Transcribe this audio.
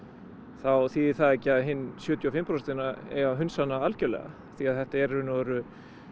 þá þýðir það ekki að hin sjötíu og fimm prósentin eigi að hunsa hana algjörlega því þetta eru